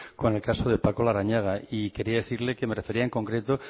con el caso de paco larrañaga y quería decirle que me refería en concreto